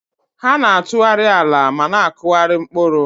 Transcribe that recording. Ha na-atụgharị ala ma na-akụgharị mkpụrụ.